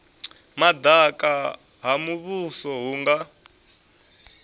madaka ha muvhuso hu nga